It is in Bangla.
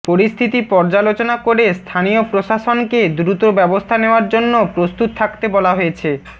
পরিস্থিতি পর্যালোচনা করে স্থানীয় প্রশাসনকে দ্রুত ব্যবস্থা নেওয়ার জন্য প্রস্তুত থাকতে বলা হয়েছে